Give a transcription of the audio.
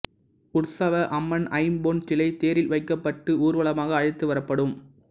உர்சவ அம்மன் ஐம்பொன் சிலை தேரில் வைக்கப்பட்டு ஊர்வலமாக அழைத்து வரப்படும்